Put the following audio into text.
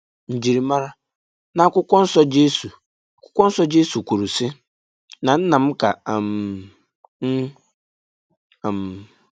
Ñjịrị màrà, nà àkwụkwọ nsọ jesụ àkwụkwọ nsọ jesụ kwụrụ sị, nà Nṅam ka um m. um